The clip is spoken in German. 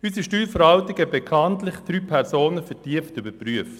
Unsere Steuerverwaltung hatte bekanntlich drei Personen vertieft überprüft.